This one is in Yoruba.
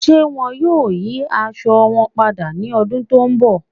Ṣé wọ́n yóò yí àṣọ wọn pádà ní ọ̀dún tó nbọ̀?